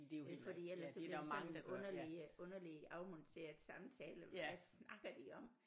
Fordi ellers så bliver det sådan en underlig underlig afmonteret samtale hvad snakker de om